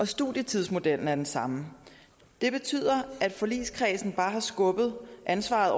studietidsmodellen er den samme det betyder at forligskredsen bare har skubbet ansvaret